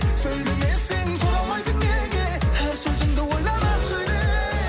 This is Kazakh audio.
сөйлемесең тұра алмайсың неге әр сөзіңді ойланып сөйле